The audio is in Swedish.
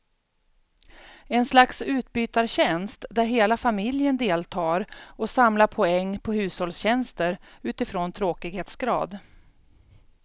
En slags utbytartjänst där hela familjen deltar och samlar poäng på hushållstjänster utifrån tråkighetsgrad.